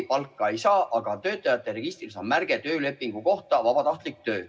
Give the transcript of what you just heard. Ta palka ei saa, aga töötajate registris on märge töölepingu kohta: vabatahtlik töö.